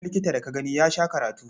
Duk wani likita da ka gani ya sha karatu.